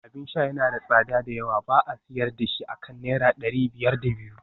Abin sha yana da tsada da yawa ba a sayar da shi akan naira dari biyar da biyu